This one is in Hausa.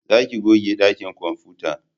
Za ku goge dakin kwamfuta!